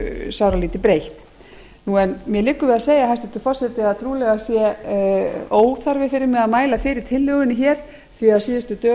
sáralítið breytt en mér liggur við að segja hæstvirtur forseti að trúlega sé óþarfi fyrir mig að mæla fyrir tillögunni hér því að á síðustu dögum hefur verið